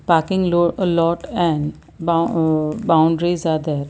parking aa alot and aa boundaries are there.